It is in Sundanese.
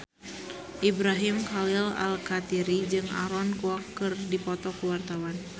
Ibrahim Khalil Alkatiri jeung Aaron Kwok keur dipoto ku wartawan